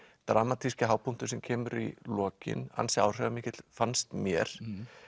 dramatíski hápunktur sem kemur í lokin ansi áhrifamikill fannst mér